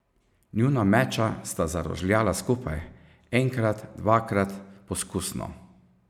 Njuna meča sta zarožljala skupaj, enkrat, dvakrat, poskusno.